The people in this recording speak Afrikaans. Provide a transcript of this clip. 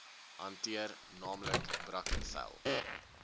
hanteer naamlik brackenfell